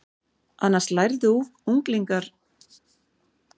Annars lærðu unglingar dagleg störf af foreldrum sínum og öðru fullorðnu fólki.